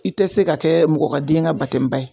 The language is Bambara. I tɛ se ka kɛ mɔgɔ ka den ka ba ye